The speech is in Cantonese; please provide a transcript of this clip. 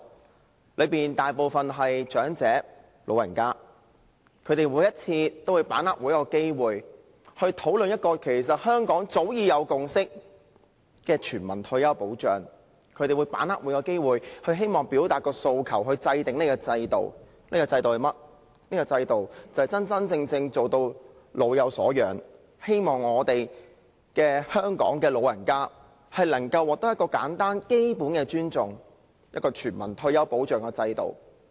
他們當中大部分是長者，每一次他們都把握機會討論香港早已有共識的全民退休保障，他們把握每個機會表達訴求，希望制訂這個制度，真正做到老有所養，讓香港的長者能透過全民退休保障的制度獲得基本的尊重。